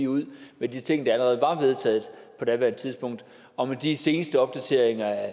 ud med de ting der allerede var vedtaget på daværende tidspunkt og med de seneste opdateringer af